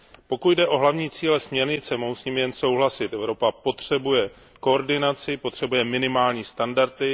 Pokud jde o hlavní cíle směrnice, mohu s nimi jen souhlasit, Evropa potřebuje koordinaci, potřebuje minimální standardy.